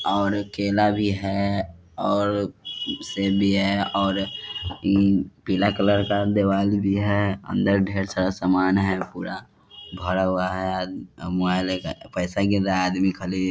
और केला भी है और सेब भी है और हम्म पीला कलर का दिवाल भी है अंदर ढ़ेर सारा समान है पूरा भरा हुआ है आम मोबाईल लेके पैसा गिन रहा है। आदमी खाली --